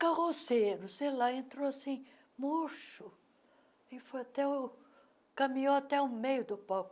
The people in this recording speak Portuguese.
carroceiro, sei lá, entrou assim, murcho, e foi até o... Caminhou até o meio do palco.